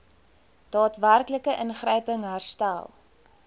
daadwerklike ingryping herstel